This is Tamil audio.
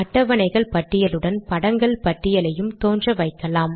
அட்டவணைகள் பட்டியலுடன் படங்கள் பட்டியலையும் தோன்ற வைக்கலாம்